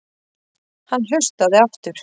Hann hlustaði aftur.